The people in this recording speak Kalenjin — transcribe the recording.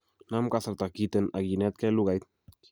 Nam kasarta kiten ak inetkei lugait